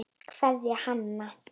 Kveðja, Hanna.